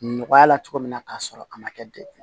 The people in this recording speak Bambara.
Nɔgɔya la cogo min na k'a sɔrɔ a ma kɛ degun ye